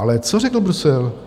Ale co řekl Brusel?